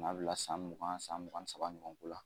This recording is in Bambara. N'a bila san mugan san mugan saba ɲɔgɔn ko la